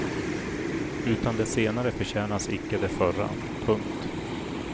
Utan det senare förtjänas icke det förra. punkt